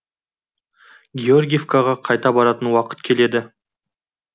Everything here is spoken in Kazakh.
георгиевкаға қайта баратын уақыт келеді